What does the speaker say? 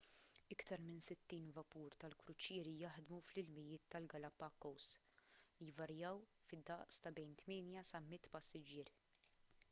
iktar minn 60 vapur tal-kruċieri jaħdmu fl-ilmijiet tal-galapagos li jvarjaw fid-daqs ta' bejn 8 sa 100 passiġġier